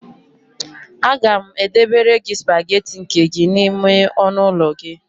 Aga m edebere gị spagetị nke gị n'ime ọnụụlọ gị